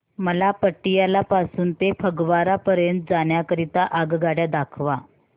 मला पटियाला पासून ते फगवारा पर्यंत जाण्या करीता आगगाड्या दाखवा